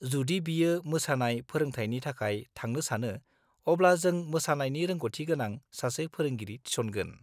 जुदि बियो मोसानाय फोरोंथायनि थाखाय थांनो सानो, अब्ला जों मोसानायनि रोंग'थि गोनां सासे फोरोंगिरि थिसनगोन।